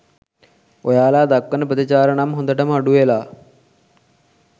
ඔයාලා දක්වන ප්‍රතිචාර නම් හොඳටම අඩු වෙලා.